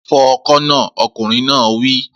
Fọ ọkọ̀ náà! Ọkùnrin náà wí